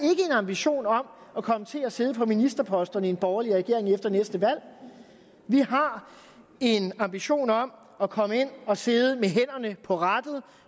ambition om at komme til at sidde på ministerposterne i en borgerlig regering efter næste valg vi har en ambition om at komme ind og sidde med hænderne på rattet